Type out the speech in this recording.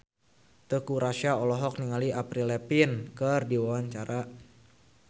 Teuku Rassya olohok ningali Avril Lavigne keur diwawancara